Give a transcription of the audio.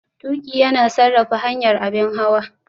Tuƙi yana sarrafa hanyar abin hawa.